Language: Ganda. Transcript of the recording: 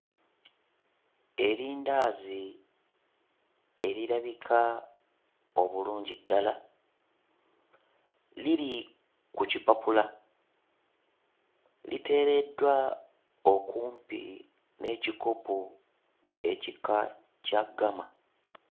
Erindaazi erirabika obulungi ddala liri ku kipapula, liteereddwa okumpi n'ekikopo ekika kya ggama.